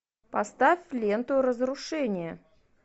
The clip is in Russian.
поставь ленту разрушение